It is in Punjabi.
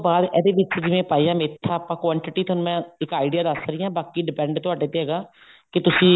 ਬਾਅਦ ਇਹਦੇ ਵਿੱਚ ਜਿਵੇਂ ਪਾਈਆ ਮੇਥਾ ਆਪਾਂ quantity ਤੁਹਾਨੂੰ ਮੈਂ ਇੱਕ idea ਦੱਸ ਰਹੀ ਹਾਂ ਬਾਕੀ depend ਤੁਹਾਡੇ ਤੇ ਹੈਗਾ ਕੀ ਤੁਸੀਂ